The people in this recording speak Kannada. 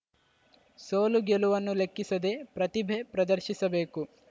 ಸೋಲುಗೆಲುವನ್ನು ಲೆಕ್ಕಿಸದೇ ಪ್ರತಿಭೆ ಪ್ರದರ್ಶಿಸಬೇಕು